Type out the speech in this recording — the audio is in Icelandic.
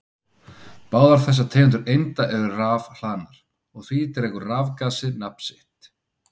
Báðar þessar tegundir einda eru rafhlaðnar og af því dregur rafgasið nafn sitt.